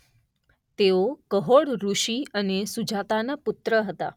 તેઓ કહોડ ઋષિ અને સુજાતાના પુત્ર હતા.